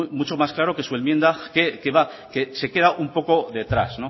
mucho más claro que su enmienda que se queda un poco detrás